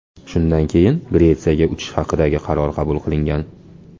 Shundan keyin Gretsiyaga uchish haqidagi qaror qabul qilingan.